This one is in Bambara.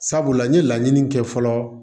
Sabula n ye laɲini kɛ fɔlɔ